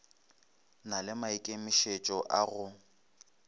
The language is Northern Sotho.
na le maikemišetšo a go